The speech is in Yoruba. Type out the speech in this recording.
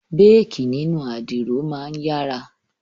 Béèkí nínú àdìro máa ń yára